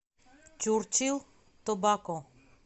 чурчил тобако